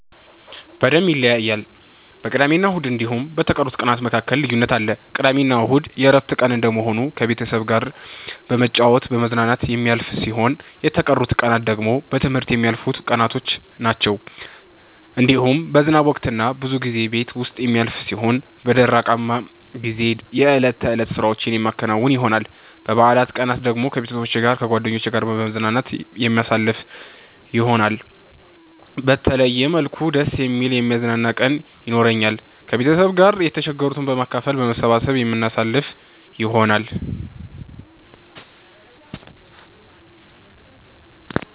በደምብ ይለያያል በቅዳሜና እሁድ እንዲሁም በቀሩት ቀናት መካከል ልዩነት አለ። ቅዳሜና እሁድ የእረፍት ቀን እንደመሆኑ ከቤተሰብ ጋራ በመጫወት በመዝናናት የሚያልፍ ሲሆን የተቀሩት ቀናት ደግሞ በትምህርት የሚያልፉቀናቶች ናቸዉ። እንዲሁም በዝናብ ወቅት ብዙ ጊዜ ቤት ዉስጥ የሚያልፍ ሲሆን በደረቃማ ጊዜ የእለት ተእለት ስራዎቼን የማከናዉን ይሆናል። በበአላት ቀናት ደግሞ ከቤተሰብ ጋር ከጓደኜቼ ጋራ በመዝናናት የማሳልፍ ይሆናል። በተለየ መልኩ ደስ የሚል የሚያዝናና ቀን የኖራኛል። ከቤተሰብ ጋር የተቸገሩትን በማካፈል በመሰባሰብ የምናሳልፍ ይሆናል።